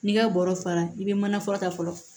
N'i ka bɔrɔ fara i bɛ manafurata fɔlɔ